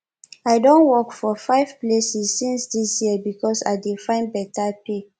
i don work for five places since dis year because i dey find beta pay